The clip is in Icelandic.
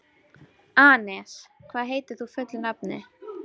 Anes, hvað heitir þú fullu nafni?